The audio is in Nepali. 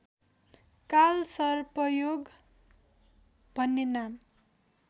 कालसर्पयोग भन्ने नाम